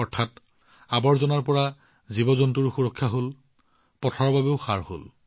অৰ্থাৎ আৱৰ্জনাৰ পৰা জীৱজন্তুৰ সুৰক্ষা আৰু লগতে পথাৰৰ বাবে সাৰ